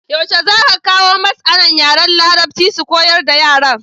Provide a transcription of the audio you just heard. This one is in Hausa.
Yaushe zaka kawo masAna yaran larabci su koyar da yaran?